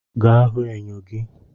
Ga hụ enyo gi!